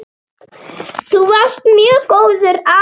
Þú varst mjög góður afi.